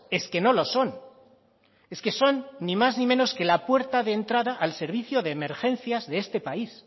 es que no lo son es que son ni más ni menos que la puerta de entrada al servicio de emergencias de este país